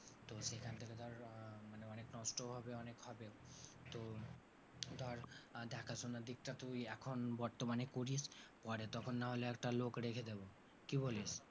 নষ্ট হবে অনেকভাবে, তো ধর দেখাশোনার দিকটা তুই এখন বর্তমানে করিস পরে তখন না হলে একটা লোক রেখে দেবো, কি বলিস?